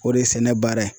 O de ye sɛnɛ baara ye